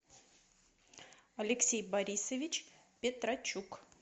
алексей борисович петрочук